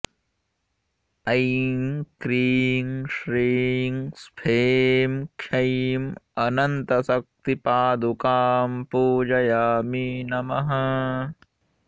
ऐं क्रीं श्रीं स्फें क्षैं अनन्तशक्तिपादुकां पूजयामि नमः